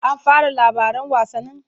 An fara labaran wasannin?